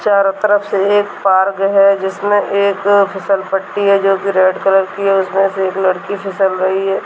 चारों तरफ से एक पार्क है जिसमे एक फिसलपट्टी है जो कि रेड कलर की है जिसमे से एक लकड़ी फिसल रही है।